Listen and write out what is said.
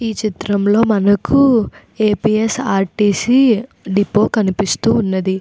ఈ చిత్రం లో మనకు ఏ.పీ.స్.ర్.టీ.సి. డిపో కనిపిస్తున్నది.